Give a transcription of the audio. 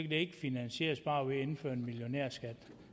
det ikke finansieres bare ved at man indfører en millionærskat